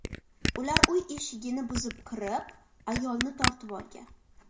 Ular uy eshigini buzib kirib, ayolni tortib olgan.